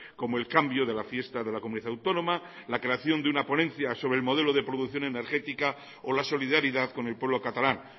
como el cambio de la fiesta de la comunidad autónoma la creación de una ponencia sobre el modelo de producción energética o la solidaridad con el pueblo catalán